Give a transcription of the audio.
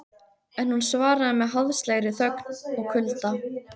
En hún svaraði með háðslegri þögn og kulda.